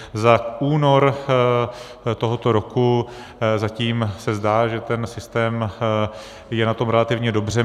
Za únor tohoto roku zatím se zdá, že ten systém je na tom relativně dobře.